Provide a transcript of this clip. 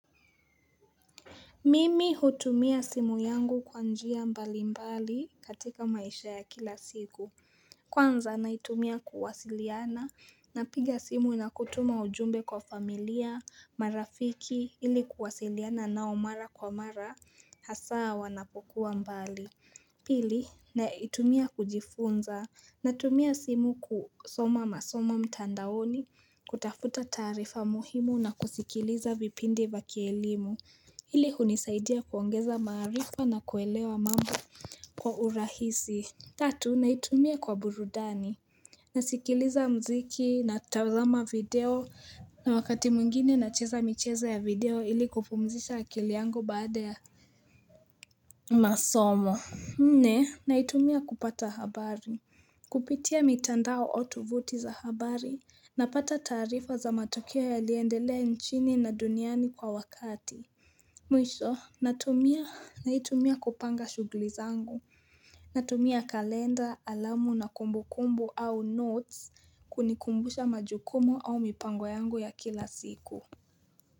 Mimi hutumia simu yangu kwanjia mbali mbali katika maisha ya kila siku, kwanza naitumia kuwasiliana, napiga simu nakutuma ujumbe kwa familia, marafiki ili kuwasiliana nao mara kwa mara, hasaa wanapokuwa mbali. Pili naitumia kujifunza natumia simu kusoma masoma mtandaoni kutafuta tarifa muhimu na kusikiliza vipindi vya kielimu ili kunisaidia kuongeza marifa na kuelewa mambo kwa urahisi Tatu naitumia kwa burudani nasikiliza mziki natutazama video na wakati mwingine nacheza mcheza ya video ili kupumzisha akili yango baada ya masomo Nne, naitumia kupata habari Kupitia mitandao otuvuti za habari Napata tarifa za matokea yaliendelea nchini na duniani kwa wakati Mwisho, naitumia kupanga shugli zangu Natumia kalenda, alamu na kumbu kumbu au notes kunikumbusha majukumu au mipango yangu ya kila siku.